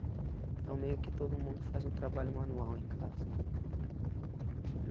Então meio que todo mundo faz um trabalho manual em casa.